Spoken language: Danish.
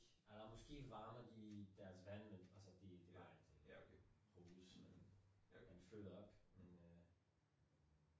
Eller måske varmer de deres vand men altså de nej de bruges man fylder op